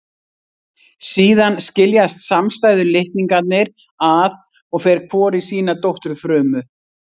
Síðan skiljast samstæðu litningarnir að og fer hvor í sína dótturfrumu.